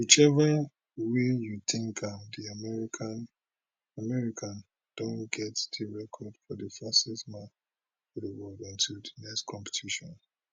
whichever way you tink am di american don get di record for di fastest man for di world until di next competition